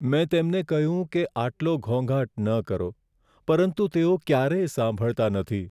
મેં તેમને કહ્યું છે કે આટલો ઘોંઘાટ ન કરો, પરંતુ તેઓ ક્યારેય સાંભળતા નથી.